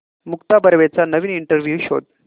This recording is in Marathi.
मुक्ता बर्वेचा नवीन इंटरव्ह्यु शोध